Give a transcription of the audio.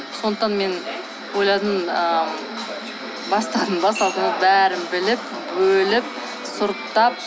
сондықтан мен ойладым ыыы бастадың ба салтанат бәрін біліп бөліп сұрыптап